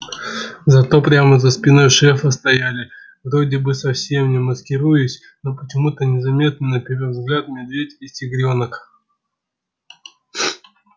зато прямо за спиной шефа стояли вроде бы совсем не маскируясь но почему-то незаметные на первый взгляд медведь и тигрёнок